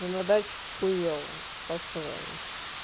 на даче хуёво по-своему